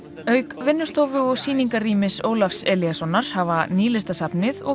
auk vinnustofu og sýningarrýmis Ólafs Elíassonar hafa Nýlistasafnið og